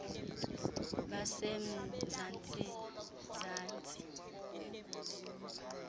base mzantsi zantsi